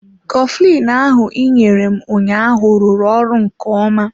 Coflin ahụ ị nyere m ụnyaahụ rụrụ ọrụ nke ọma.